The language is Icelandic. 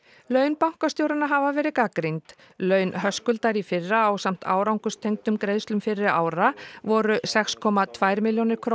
laun bankastjóranna hafa verið gagnrýnd laun Höskuldar í fyrra ásamt árangurstengdum greiðslum fyrri ára voru sex komma tvær milljónir króna